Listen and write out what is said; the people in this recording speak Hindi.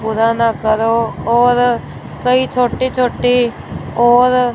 पुराना करो और कई छोटी छोटी और--